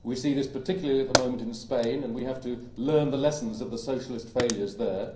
We see this particularly at the moment in Spain and we have to learn the lessons of the Socialist failures there.